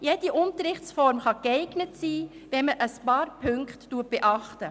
Jede Unterrichtsform kann geeignet sein, wenn man ein paar Punkte beachtet.